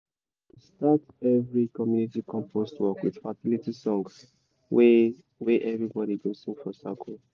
we dey start every community compost work with fertility song wey wey everybody go sing for circle.